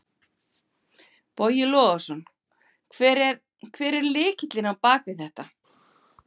Boði Logason: Hver er, hver er lykillinn á bakvið þetta?